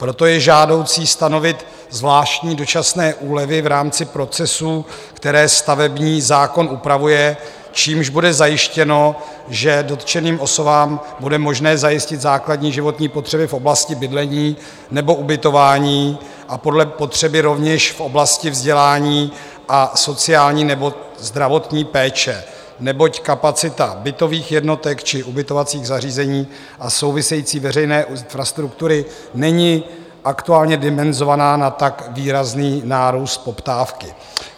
Proto je žádoucí stanovit zvláštní dočasné úlevy v rámci procesů, které stavební zákon upravuje, čímž bude zajištěno, že dotčeným osobám bude možné zajistit základní životní potřeby v oblasti bydlení nebo ubytování a podle potřeby rovněž v oblasti vzdělání a sociální nebo zdravotní péče, neboť kapacita bytových jednotek či ubytovacích zařízení a související veřejné infrastruktury není aktuálně dimenzovaná na tak výrazný nárůst poptávky.